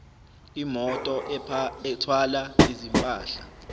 imoto ethwala izimpahla